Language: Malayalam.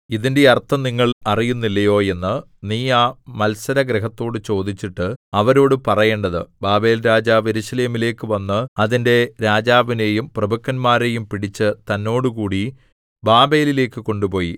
ഇതിന്റെ അർത്ഥം നിങ്ങൾ അറിയുന്നില്ലയോ എന്ന് നീ ആ മത്സരഗൃഹത്തോട് ചോദിച്ചിട്ട് അവരോടു പറയേണ്ടത് ബാബേൽരാജാവ് യെരൂശലേമിലേക്കു വന്ന് അതിന്റെ രാജാവിനെയും പ്രഭുക്കന്മാരെയും പിടിച്ച് തന്നോടുകൂടി ബാബേലിലേക്കു കൊണ്ടുപോയി